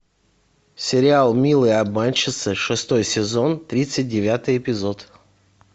сериал милые обманщицы шестой сезон тридцать девятый эпизод